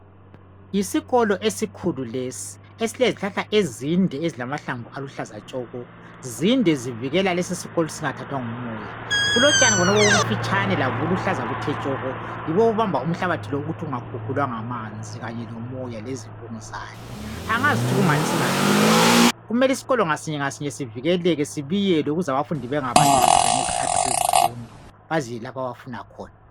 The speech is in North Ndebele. Yisikolo esikhulu lesi esilezihlahla ezinde ezilamahlamvu aluhlaza tshoko. Zinde zivikela isikolo lesi ukuthi singathathwa ngumoya, kulotshani bonobu obufitshane labo buluhlaza buthe tshoko yibo obubamba umhlabathi ukuthi ungakhukhulwa ngamanzi, kanye lomoya kanye lesivunguzane. Angazi ukuthi kungani singabiyelwanga kumele isikolo ngasinye ngasinye sivikeleke sibiyelwe ukuze abafundi bengabaleki phela ngezikhathi zezifundo baziyele lapho abafuna khona.